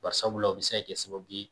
Barisabula o bi se ka kɛ sababu ye